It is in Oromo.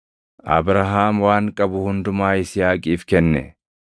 Abrahaam waan qabu hundumaa Yisihaaqiif kenne.